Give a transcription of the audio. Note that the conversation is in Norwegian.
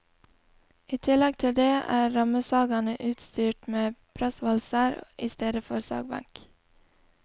I tillegg til det, er rammesagene utstyrt med pressvalser i stedet for sagbenk.